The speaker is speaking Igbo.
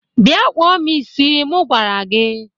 Bịa kpụọ m isi mụ gwara gị!